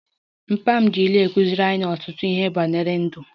Papa m ji ilu kụziere anyị ọtụtụ ihe banyere ndụ